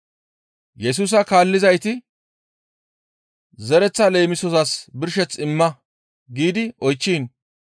Yesusa kaallizayti, «Zereththaa leemisozas birsheth imma» giidi oychchiin,